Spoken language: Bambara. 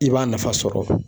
I b'a nafa sɔrɔ